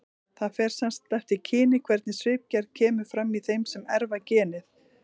Það fer sem sagt eftir kyni hvernig svipgerð kemur fram í þeim sem erfa genið.